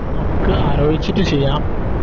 നമുക്ക് ആലോയിച്ചിട്ട് ചെയ്യാം